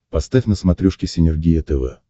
поставь на смотрешке синергия тв